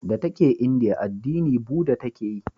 Da ta ke indiya addini buda ta ke yi